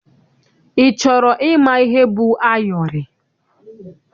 Ị chọrọ ịma ihe bụ ayọrị?